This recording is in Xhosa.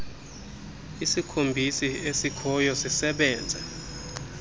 isikhombisi esikhoyo sisebenze